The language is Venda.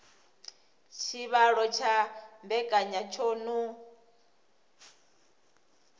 tshivhalo tsha mbekanya tsho no